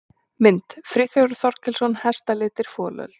Mynd: Friðþjófur Þorkelsson: Hestalitir- folöld.